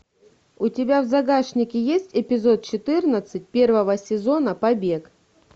у тебя в загашнике есть эпизод четырнадцать первого сезона побег